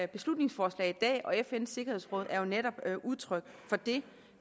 beslutningsforslag i dag og fns sikkerhedsråd er jo netop udtryk for det